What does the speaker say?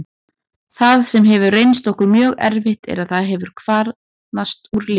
Það sem hefur reynst okkur mjög erfitt er að það hefur kvarnast úr liðinu.